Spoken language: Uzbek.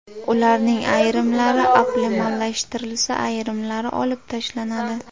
Ularning ayrimlari optimallashtirilsa, ayrimlari olib tashlanadi.